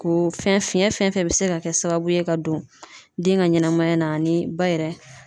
K'o fɛn fiyɛn fɛn fɛn bɛ se ka kɛ sababu ye ka don den ka ɲɛnɛmaya na ani ba yɛrɛ